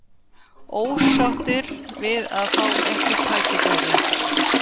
Ósáttir við að fá ekki tækifæri